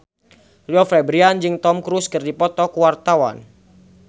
Rio Febrian jeung Tom Cruise keur dipoto ku wartawan